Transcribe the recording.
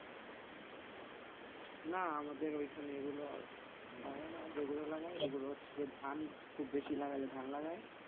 না আমাদের ওইখানে এগুলো লাগায় না যেগুলো লাগায় ওগুলো হচ্ছে যে ধান খুব বেশি লাগালে ধান লাগায়,